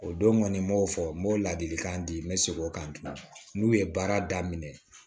O don kɔni n m'o fɔ n b'o ladilikan di n bɛ seg'o kan n'u ye baara daminɛ